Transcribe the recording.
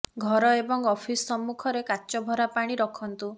ଘର ଏବଂ ଅଫିସ ସମ୍ମୁଖରେ କାଚ ଭରା ପାଣି ରଖନ୍ତୁ